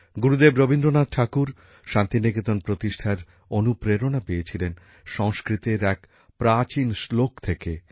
গুরুদেব রবীন্দ্রনাথ ঠাকুর শান্তিনিকেতন প্রতিষ্ঠার অনুপ্রেরণা পেয়েছিলেন সংস্কৃতের এক প্রাচীন শ্লোক থেকেঃ